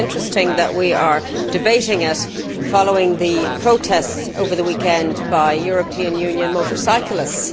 It is interesting that we are debating it following the protests over the weekend by European Union motorcyclists.